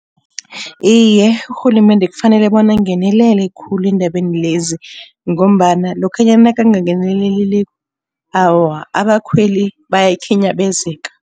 Iye, urhulumende kufanele bona angenelele khulu eendabeni lezi. Ngombana lokhanyana nakangangeneleliko awa abakhweli bayakhinyabezeka.